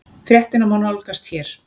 Fréttina má nálgast hér